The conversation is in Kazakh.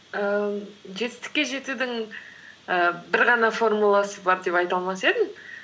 ііі жетістікке жетудің ііі бір ғана формуласы бар деп айта алмас едім